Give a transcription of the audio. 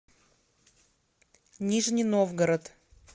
нижний новгород